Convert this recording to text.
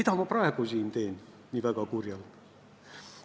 Kas ma praegu esinen väga kurjalt?